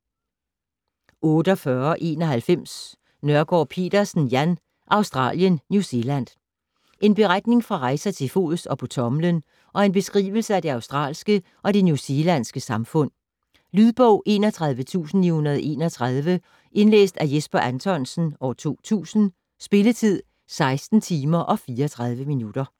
48.91 Nørgaard Petersen, Jan: Australien, New Zealand En beretning fra rejser til fods og på tommelen og en beskrivelse af det australske og det new zealandske samfund. Lydbog 31931 Indlæst af Jesper Anthonsen, 2000. Spilletid: 16 timer, 34 minutter.